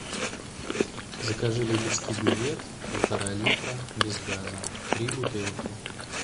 закажи липецкий бювет полтора литра без газа три бутылки